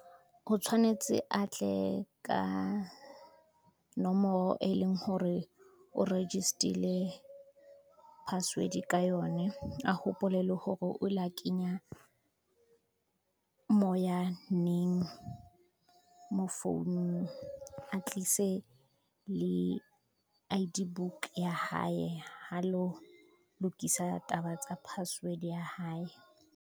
O tshwanetse a tle ka, nomoro e leng hore o register-ile password ka yone, a hopole le hore o la kenya, moya neng mo founung, a tlise le I_D book ya haye ha lo lokisa taba tsa password ya hae.